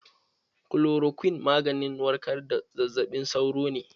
Kulorakwin maganin warkar da zazzaɓin sauro ne.